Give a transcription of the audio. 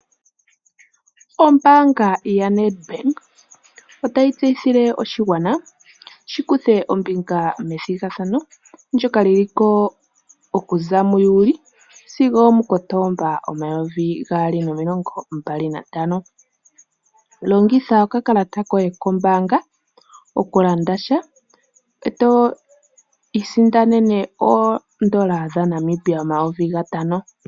Ombaanga yaNEDBANK otayi tseyithile oshigwana shi kuthe ombinga methigathano ndika lyi liko okuza muJuli sigo omuKotomba 2025. Longitha okakalata koye koombaanga oku landa sha, eto isindanene oondola dhaNamibia omayovi gatano.